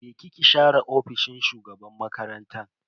Je ki ki share ofishin shugaban makarantan.